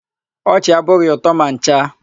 Ọchị abụghị ụtọ ma ncha.